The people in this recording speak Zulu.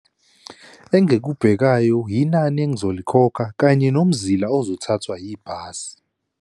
Engikubhekayo yinani engizolikhokha kanye nomzila ozothathwa yibhasi.